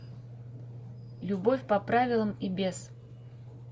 любовь по правилам и без